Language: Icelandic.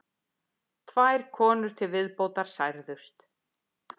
Tvær konur til viðbótar særðust